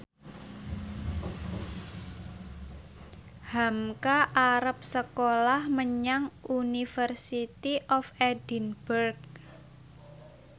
hamka arep sekolah menyang University of Edinburgh